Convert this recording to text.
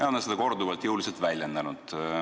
Ja nad on seda korduvalt jõuliselt väljendanud.